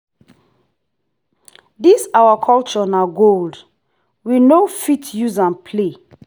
this our culture na gold we no fit use am play.